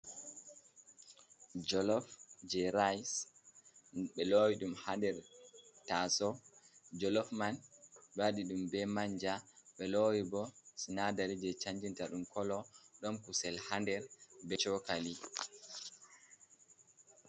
Jolof Je Rais, Ɓe Lowi Ɗum Haɗer Taso. Jolof man Ɓe Waɗi Ɗum Ɓe Manja Ɓe Lowi Ɓo Sinadari Je Canjinta Ɗum Kolo Ɗom Kusel Ha Nɗer Ɓe Chokali.